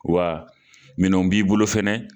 Wa minɛw b'i bolo fana.